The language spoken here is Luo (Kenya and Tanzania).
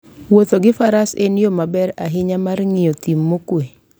Wuotho gi Faras en yo maber ahinya mar ng'iyo thim mokuwe.